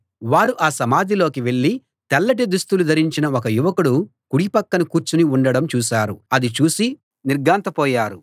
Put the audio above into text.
వారు ఆ సమాధిలోకి వెళ్ళి తెల్లటి దుస్తులు ధరించిన ఒక యువకుడు కుడి పక్కన కూర్చుని ఉండడం చూశారు అది చూసి వారు నిర్ఘాంతపోయారు